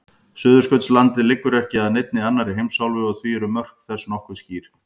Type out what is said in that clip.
Suðurskautslandið liggur ekki að neinni annarri heimsálfu og því eru mörk þess nokkuð skýr.